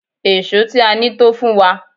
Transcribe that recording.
Èṣó tí a ní tó fún wa.